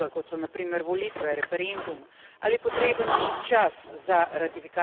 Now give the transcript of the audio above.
volitve, referendum ali potreben čas za ratifikacijo sporazuma.